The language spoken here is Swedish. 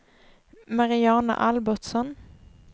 Mariana Albertsson